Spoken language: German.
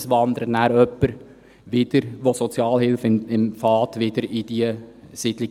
– Es wandern wieder Sozialhilfeempfänger in diese Siedlungen.